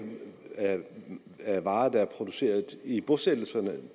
er varer der er produceret i bosættelserne